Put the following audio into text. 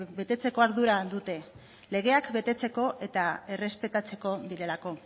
betetzeko ardura dute legeak betetzeko eta errespetatzeko direlako